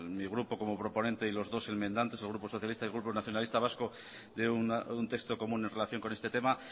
mi grupo como proponente y los dos enmendantes el grupo socialista y el grupo nacionalista vasco de un texto común en relación con este tema